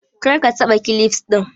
Kar ka taɓa kilifs ɗin!